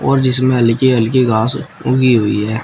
और जिसमें हल्की-हल्की घास उगी हुई है।